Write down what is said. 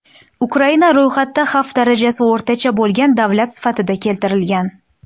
Ukraina ro‘yxatda xavf darajasi o‘rtacha bo‘lgan davlat sifatida keltirilgan.